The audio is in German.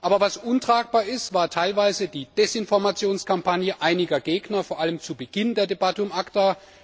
Aber was untragbar ist, war teilweise die Desinformationskampagne einiger Gegner, vor allem zu Beginn der Debatte um ACTA.